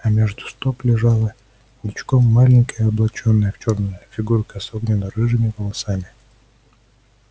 а между стоп лежала ничком маленькая облачённая в чёрное фигурка с огненно-рыжими волосами